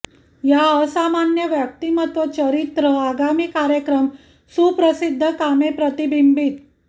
या असामान्य व्यक्तिमत्त्व चरित्र आगामी कार्यक्रम सुप्रसिद्ध कामे प्रतिबिंबित